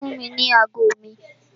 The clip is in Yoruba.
Fún mi ní ago mi!